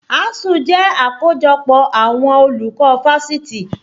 Asuu jẹ́ àkójọpọ̀ àwọn àwọn olùkọ́ fáṣitì